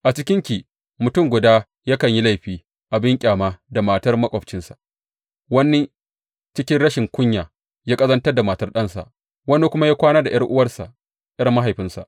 A cikinki mutum guda yakan yi laifi abin ƙyama da matar maƙwabcinsa, wani cikin rashin kunya ya ƙazantar da matar ɗansa, wani kuma ya kwana da ’yar’uwansa, ’yar mahaifinsa.